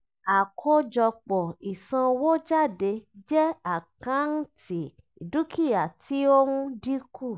àkọ́jọpọ̀ ìsanwójádé jẹ́ àkántì dúkìá tí ó ń dínkù